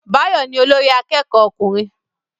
Báyọ̀ ni olórí akẹ́kọ̀ọ́ ọkùnrin